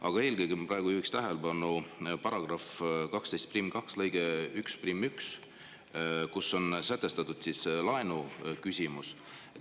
Aga eelkõige ma praegu juhiks tähelepanu § 122 lõikele 11, kus on säte laenu kohta.